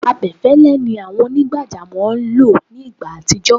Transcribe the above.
abẹfẹlẹ ni àwọn onigbajamo lọ ní igbá atijọ